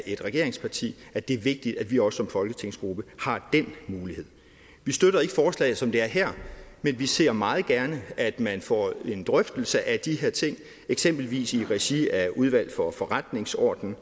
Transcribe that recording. et regeringsparti at det er vigtigt at vi også som folketingsgruppe har den mulighed vi støtter ikke forslaget som det er her men vi ser meget gerne at man får en drøftelse af de her ting eksempelvis i regi af udvalget for forretningsordenen